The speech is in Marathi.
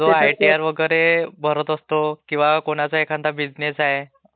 जे आयटीआर वगैरे भरत असतो किंवा कोणाचा एखादा बिझनेस आहे.